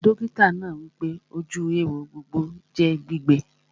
Dọ́kítà náà wípé, ojú éwo gbọdọ̀ jẹ́ gbígbẹ